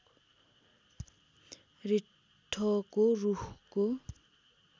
रिट्ठोको रूखको